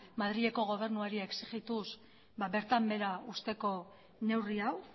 madrileko gobernuari exigituz bertan behera usteko neurri hau